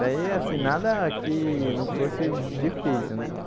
Daí, assim, nada que não fosse difícil, né?